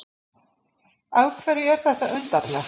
Af hverju er þetta undarlegt?